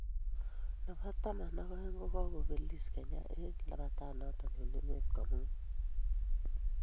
Nebo taman ak oeng kobelisie Kenya eng labatanato eng emet komugul